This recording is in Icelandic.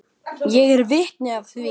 Ég er vitni að því.